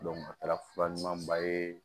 a taara fura ɲuman ba ye